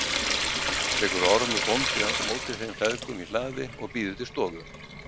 Tekur Ormur bóndi á móti þeim feðgum í hlaði og býður til stofu.